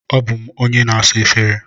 Abụ m onye na-asa efere.